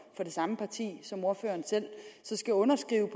samme parti som ordføreren selv så skal underskrive